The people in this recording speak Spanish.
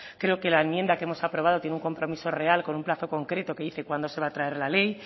creo que la enmienda que hemos aprobado tiene un compromiso real con un plazo concreto que dice cuándo se va a traer la ley